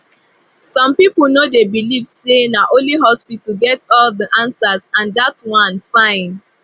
some people no dey believe say na only hospital get all the answer and dat one fine